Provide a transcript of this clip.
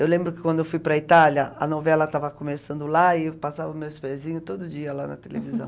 Eu lembro que quando eu fui para a Itália, a novela estava começando lá e passava meus pezinho todo dia lá na televisão.